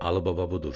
Alıbaba budur.